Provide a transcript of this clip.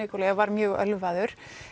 var mjög ölvaður